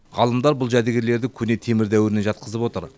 ғалымдар бұл жәдігерлерді көне темір дәуіріне жатқызып отыр